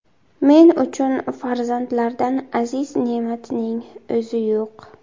Men uchun farzandlardan aziz ne’matning o‘zi yo‘q.